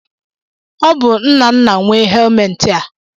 Ọ bụ Nnanna nwe helmetị a.